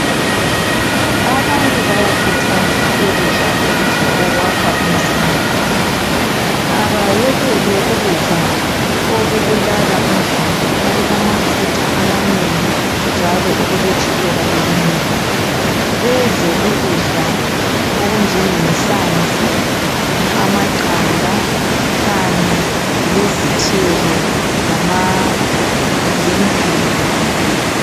Abantu bayakhuthazwa ukudla ukudla okwakha umzimba abayekele ukudla okubulala umzimba okulamafutha amanengi njalo okuletshukela elinengi bedle ukudla okunjengenhlanzi ,amaqanda kanye lezithelo lama lembhida